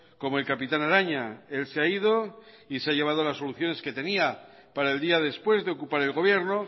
como el capitán araña él se ha ido y se ha llevado las soluciones que tenía para el día después de ocupar el gobierno